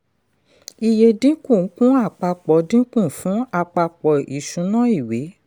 iye dínkù kún àpapọ̀ dínkù kún àpapọ̀ ìṣúná ìwé.